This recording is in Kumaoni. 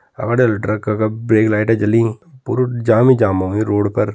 ट्रक क का ब्रेक लाइट जलीं पुरु जाम ही जाम होयुं रोड पर।